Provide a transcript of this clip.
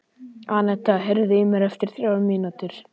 Annetta, heyrðu í mér eftir þrjár mínútur.